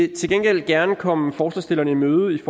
til gengæld gerne komme forslagsstillerne i møde i